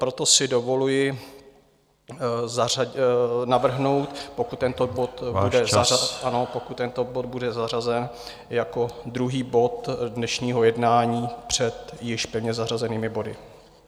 Proto si dovoluji navrhnout, pokud tento bod bude zařazen, jako druhý bod dnešního jednání před již pevně zařazenými body.